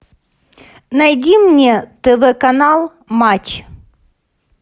найди мне тв канал матч